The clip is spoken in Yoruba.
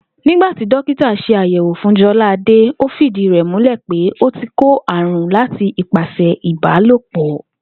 Nígbà tí dókítà s̩e àyè̩wò fún Jo̩láadé, ó fìdí rè̩ múlè̩ pé ó ti kó àrùn láti ipasè̩ ìbálòpò̩